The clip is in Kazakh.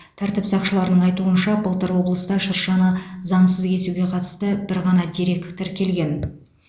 тәртіп сақшыларының айтуынша былтыр облыста шыршаны заңсыз кесуге қатысты бір ғана дерек тіркелген